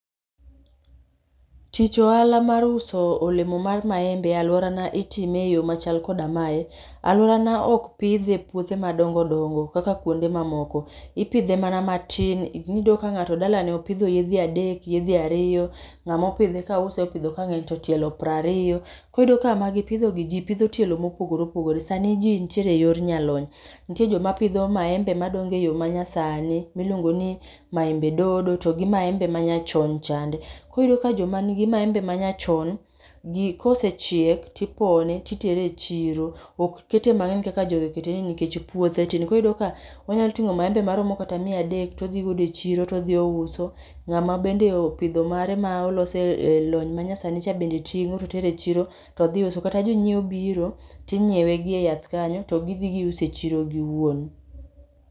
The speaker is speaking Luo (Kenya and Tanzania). Tich ohala mar uso olemo mar maembe e aluorana itime eyo machal koda mae. Aluorana ok pidhe e puothe madongo dongo kaka kuonde ma moko. Ipidhe mana matin. Iyudo ka ng'ato dalane opidho yedhe adek, yedhe ariyo ng'ama opidhe kause opidho ka ng'eny to tielo piero ariyo. Koro iyudo ka ma gipidhogi ji pidho tielo mopogore opogore. Sani ji nitiere eyor jalony. Nitiere joma pidho maembe ma nyasani miluongo ni maembe dodo to gi maembe ma nyachon chande. Koro iyudo ka joma nigi maembe ma nyachon ji kosechiek, to ipone, to itere e chiro. Ok kete mang'eny kaka jogi oketeni nikech puothe tin. Iyudo ka onyalo ting'o maembe maromo kata miya adek to odhi godo e chiro to odhi ouso. Ng'ama bende opidho mare maolose elony manyasani bende ting'o to tero e chiro to dhi uso. Kata jonyiewo biro, to inyiewe gi eyath kanyo to gidhi giuso e chiro giwuon.